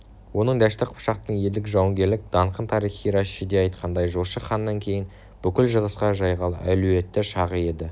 оның дәшті қыпшақтың елдік жауынгерлік даңқын тарихи рашидиайтқандай жошы ханнан кейін бүкіл шығысқа жайған әлуетті шағы еді